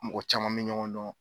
Mɔgɔ caman mɛ ɲɔgɔn dɔn.